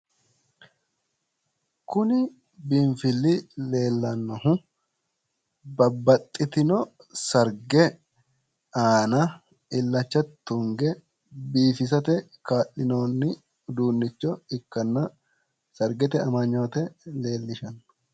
kuni biinfilli leellannohu babbaxitino sarge aana illacha tunge biifisate kaa'lanno udiinnicho ikkanna sargete amanoote leellishshanno.